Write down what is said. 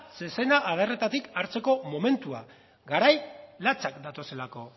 zezena adarretatik hartzeko momentua garai latzak datozelako